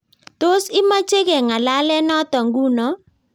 Tos, imache kengalale noto nguno?